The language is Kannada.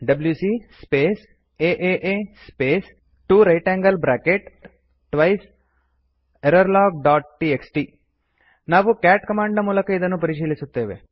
WC space a space 2 right angled bracket twice error log dot T X T ನಾವು ಕ್ಯಾಟ್ ಕಮಾಂಡ್ ಮೂಲಕ ಇದನ್ನು ಪರಿಶೀಲಿಸುತ್ತೇವೆ